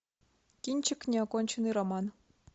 кинчик неоконченный роман